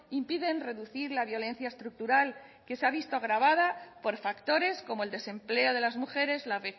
impiden reducir la violencia estructural que se ha visto agravada por factores como el desempleo de las mujeres la